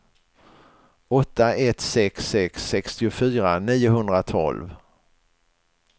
åtta ett sex sex sextiofyra niohundratolv